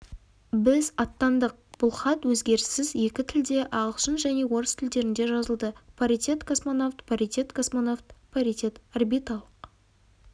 біз аттандық бұл хат өзгеріссіз екі тілде ағылшын және орыс тілдерінде жазылды паритет-космонавт паритет-космонавт паритет орбиталық